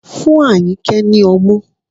Fún Ayinke ni ọmú